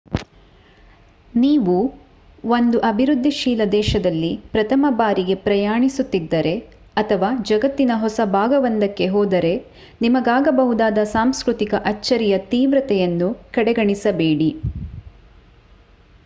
ನೀವು ಒಂದು ಅಭಿವೃದ್ಧಿಶೀಲ ದೇಶದಲ್ಲಿ ಪ್ರಥಮ ಬಾರಿಗೆ ಪ್ರಯಾಣಿಸುತಿದ್ದರೆ ಅಥವಾ ಜಗತ್ತಿನ ಹೊಸ ಭಾಗವೊಂದಕ್ಕೆ ಹೋದರೆ ನಿಮಗಾಗಬಹುದಾದ ಸಾಂಸ್ಕೃತಿಕ ಅಚ್ಚರಿಯ ತೀವ್ರತೆಯನ್ನು ಕಡೆಗಣಿಸಬೇಡಿ